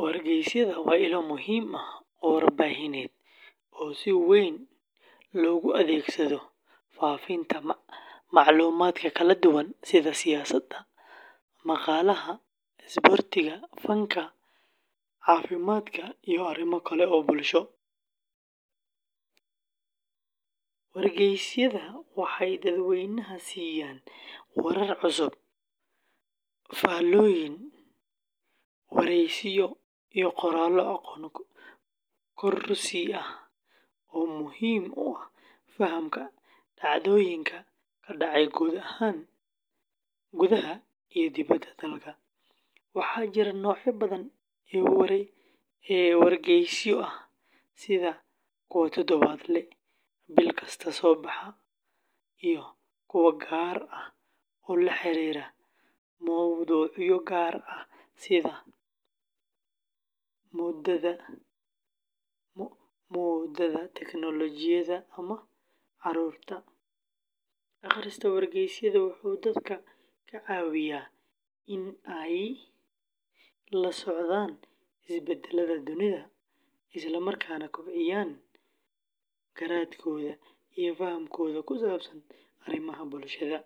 Wargeysyada waa ilo muhiim ah oo warbaahineed oo si weyn loogu adeegsado faafinta macluumaadka kala duwan sida siyaasadda, dhaqaalaha, isboortiga, fanka, caafimaadka, iyo arrimo kale oo bulsho. Wargeysyada waxay dadweynaha siiyaan warar cusub, faallooyin, wareysiyo, iyo qoraallo aqoon kororsi ah oo muhiim u ah fahamka dhacdooyinka ka dhacaya gudaha iyo dibedda dalka. Waxaa jira noocyo badan oo wargeysyo ah, sida kuwa toddobaadle ah, bil kasta soo baxa, iyo kuwa gaar ah oo la xiriira mowduucyo gaar ah sida moodada, teknoolojiyadda ama carruurta. Akhriska wargeysyada wuxuu dadka ka caawiyaa in ay la socdaan isbedellada dunida, isla markaana kobciyaan garaadkooda iyo fahamkooda ku saabsan arrimaha bulshada.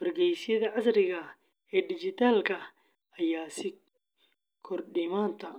Wargeysyada casriga ah ee digital-ka ah ayaa sii kordhaya maanta.